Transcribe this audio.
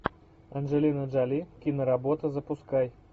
анджелина джоли киноработа запускай